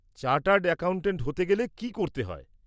Chartered accountant হতে গেলে কী করতে হয়?